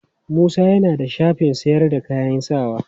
Musa ya na da shafin sayar da kayan sawa.